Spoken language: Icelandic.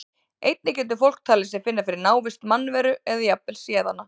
Einnig getur fólk talið sig finna fyrir návist mannveru eða jafnvel séð hana.